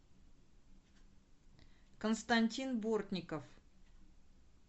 константин бортников